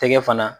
Tɛgɛ fana